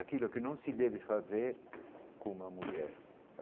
Aquilo que não se deve fazer com uma mulher.